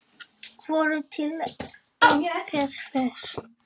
Voru til einhver svör?